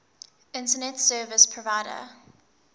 internet service provider